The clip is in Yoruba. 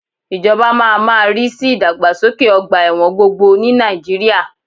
Ìjọba máa má rí sí ìdàgbàsókè ọgbà ẹ̀wọ̀n gbogbo ní Nàìjíríà